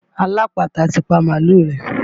Alápatà ti pa mààlúù rẹ̀.